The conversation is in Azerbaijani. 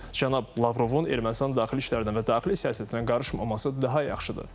Cənab Lavrovun Ermənistan daxili işlərdən və daxili siyasətinə qarışmaması daha yaxşıdır.